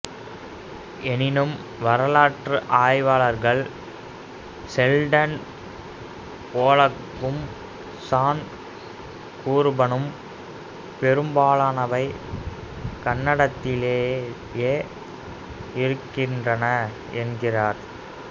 எனினும் வரலாற்று ஆய்வாளர்கள் செல்டன் போலக்கும் சான் கூபனும் பெரும்பாலனவை கன்னடத்திலேயே இருக்கின்றன என்கின்றனர்